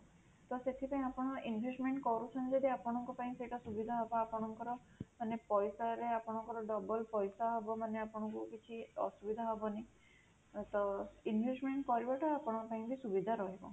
ତ ସେଥିପାଇଁ ଆପଣ investment କରୁଛନ୍ତି ଯଦି ଆପଣଙ୍କ ପାଇଁ ସେଇଟା ସୁବିଧା ହବ, ଆପଣଙ୍କର ମାନେ ପଇସା ରେ ଆପଣଙ୍କର double ପଇସା ହବ ମାନେ ଆପଣଙ୍କୁ କିଛି ଅସୁବିଧା ହବନି, ତ investment କରିବାଟା ଆପଣଙ୍କ ପାଇଁ ସୁବିଧା ରହିବ